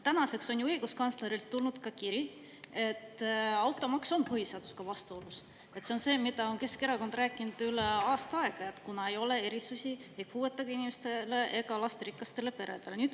Tänaseks on õiguskantslerilt tulnud kiri, et automaks on põhiseadusega vastuolus – see on see, mida Keskerakond on rääkinud üle aasta –, kuna ei ole erisusi ei puuetega inimestele ega lasterikastele peredele.